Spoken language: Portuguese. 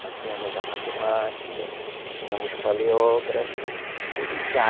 Nós tínhamos a matemática, tínhamos paleógrafo, tudo tinha.